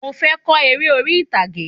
Mò fé ko eré orí ìtàgé